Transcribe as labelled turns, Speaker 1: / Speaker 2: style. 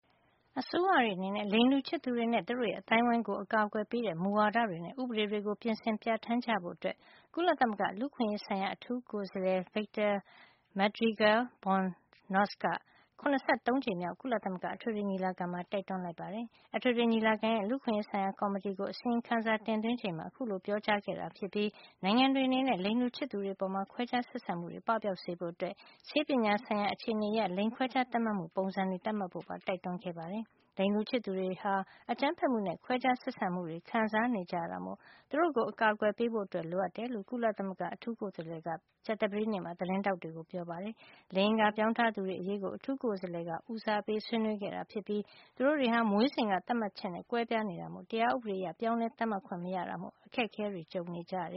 Speaker 1: အစိုးရတွေအနေနဲ့ လိင်တူချစ်သူတွေနဲ့ သူတို့ရဲ့ အသိုင်းအဝိုင်းကို အကာကွယ်ပေးတဲ့ မူဝါဒတွေနဲ့ ဥပဒေတွေ ပြင်ဆင်ပြဌာန်းကြဖို့ ကုလသမဂ္ဂလူ့အခွင့်ရေး ဆိုင်ရာ အထူးကိုယ်စားလှယ် Victor Madrigal-Borloz က ၇၃ ကြိမ်မြောက် ကုလသမဂ္ဂ အထွေထွေညီလာခံမှာ တိုက်တွန်းလိုက်ပါတယ်။ အထွေထွေညီလာခံရဲ့ လူ့အခွင့်ရေးဆိုင်ရာ ကော်မတီကို အစီရင်ခံစာတင်သွင်းချိန်မှာ အခုလို ပြောကြားခဲ့တာဖြစ်ပြီး နိုင်ငံတွေ အနေနဲ့ လိင်တူချစ်သူတွေအပေါ် ခွဲခြားဆက်ဆံမှုတွေ ပပျောက်စေဖို့ ဆေးပညာဆိုင်ရာ အခြေနေအရ လိင်ခွဲခြား သတ်မှတ်မှု ပုံစံတွေသတ်မှတ်ဖို့ပါ တိုက်တွန်းခဲ့ပါတယ်။ လိင်တူချစ်သူတွေဟာ အကြမ်းဖက်မှုတွေနဲ့ ခွဲခြားဆက်ဆံမှုတွေ ခံစားနေကြရတာမို့ သူတို့ကို အကာကွယ်ပေးဖို့ လိုအပ်တယ်လို့ ကုလသမဂ္ဂ အထူးကိုယ်စားလှယ်က ကြာသပတေးနေ့မှာ သတင်းထောက်တွေကို ပြောပါတယ်။ လိင်အင်္ဂါပြောင်းထားသူတွေအရေးကို အထူးကိုယ်စားလှယ်က ဦးစားပေးဆွေးနွေးခဲ့တာ ဖြစ်ပြီး သူတို့တွေဟာ မွေးစဉ်က သတ်မှတ်ချက်နဲ့ ကွဲပြားနေတာမို့ တရားဥပဒေအရေ ပြောင်းလဲ သတ်မှတ်ခွင့် မရတဲ့
Speaker 2: အတွက် အခက်ခဲကြုံနေကြတ